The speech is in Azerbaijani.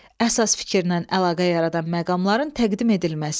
Əsas fikirlə əlaqə yaradan məqamların təqdim edilməsi.